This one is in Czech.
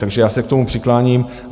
Takže já se k tomu přikláním.